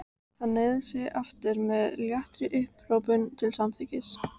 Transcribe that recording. Hann hneigði sig aftur með léttri upphrópun til samþykkis.